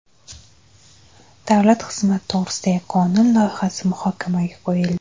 Davlat xizmati to‘g‘risidagi qonun loyihasi muhokamaga qo‘yildi.